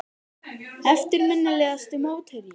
Eftirminnilegasti mótherji?